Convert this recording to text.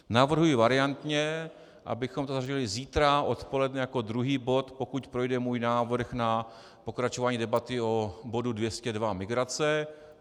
Navrhuji variantně, abychom to zařadili zítra odpoledne jako druhý bod, pokud projde můj návrh na pokračování debaty o bodu 202 - migrace.